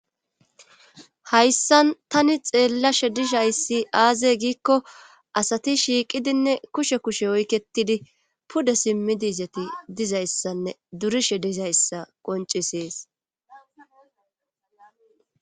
hayssan tani xeellashe dizayssi aaze giikko asati shiiqidinne kushe kushe oyketidi pude simmidi dizayssanne durishe dizayssa qoncisees